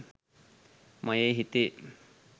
මයෙ හිතේ